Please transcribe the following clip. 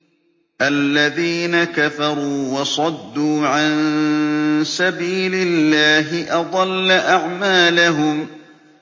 الَّذِينَ كَفَرُوا وَصَدُّوا عَن سَبِيلِ اللَّهِ أَضَلَّ أَعْمَالَهُمْ